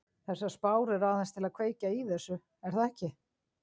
Þessar spár eru aðeins til að kveikja í þessu er það ekki?